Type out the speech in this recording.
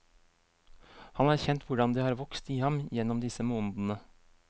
Han har kjent hvordan det har vokst i ham gjennom disse månedene.